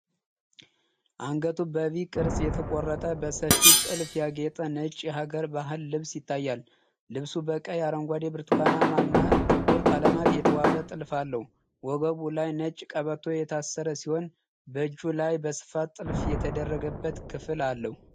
አንገቱ በቪ ቅርጽ የተቆረጠ፣ በሰፊ ጥልፍ ያጌጠ ነጭ የሀገር ባህል ልብስ ይታያል። ልብሱ በቀይ፣ አረንጓዴ፣ ብርቱካናማ እና ጥቁር ቀለማት የተዋበ ጥልፍ አለው። ወገቡ ላይ ነጭ ቀበቶ የታሰረ ሲሆን፣ በእጁ ላይ በስፋት ጥልፍ የተደረገበት ክፍል አለው።